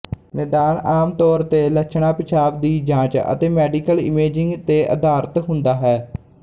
ਨਿਦਾਨ ਆਮ ਤੌਰ ਤੇ ਲੱਛਣਾਂ ਪਿਸ਼ਾਬ ਦੀ ਜਾਂਚ ਅਤੇ ਮੈਡੀਕਲ ਇਮੇਜਿੰਗ ਤੇ ਅਧਾਰਤ ਹੁੰਦਾ ਹੈ